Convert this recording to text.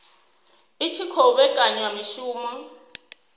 i tshi khou vhekanya mishumo